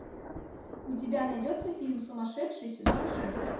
у тебя найдется фильм сумасшедший сезон шесть